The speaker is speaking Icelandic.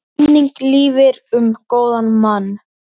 Minning lifir um góðan mann.